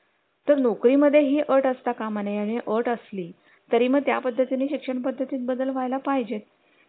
जे मुलांना अक्षरशः त्यांना तिथं लहानच आहेत इथं आपण घरात त्यांना उचलून किंवा बेसिन जवळ नेऊन स्वतः हात वगैरे धुतो